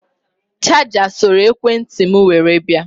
Chaja soro ekwe ntị m were bịa